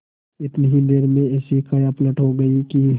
इतनी ही देर में ऐसी कायापलट हो गयी कि